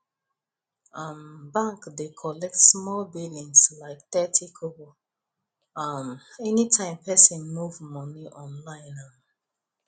um bank dey collect small billings like thirty kobo um anytime person move money online um